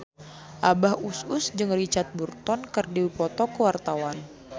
Abah Us Us jeung Richard Burton keur dipoto ku wartawan